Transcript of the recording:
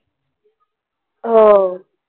हो. चालेल.